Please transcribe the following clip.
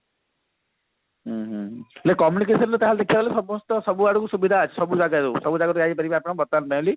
ହୁଁ ହୁଁ communication ରୁ ଦେଖିବାକୁ ଗଲେ ସମସ୍ତ ସବୁ ଆଡକୁ ସୁବିଧା ସବୁ ଜାଗରୁ ସବୁ ଜାଗରୁ ଯାଇପାରିବେ ବର୍ତମାନ mainly